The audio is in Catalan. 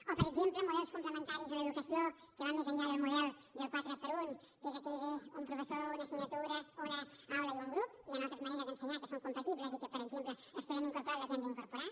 o per exemple models complementaris en l’educació que van més enllà del model quatre per un que és aquell d’un professor una assignatura una aula i un grup hi han altres maneres d’ensenyar que són compatibles i que per exemple les podem incorporar i les hem d’incorporar